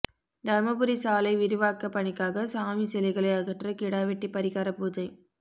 தர்மபுரி சாலை விரிவாக்க பணிக்காக சாமி சிலைகளை அகற்ற கிடா வெட்டி பரிகார பூஜை